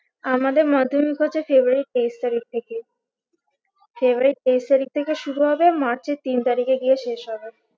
আমাদের মাধ্যমিক হচ্ছে february এর তেইশ তারিখ থেকে february এর তেইশ তারিখ থেকে শুরু হবে march এর তিন তারিখে গিয়ে শেষ হবে